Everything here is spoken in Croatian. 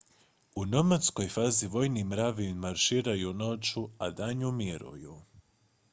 u nomadskoj fazi vojni mravi marširaju noću a danju miruju